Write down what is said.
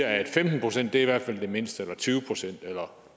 at femten procent i hvert fald er det mindste eller tyve pct eller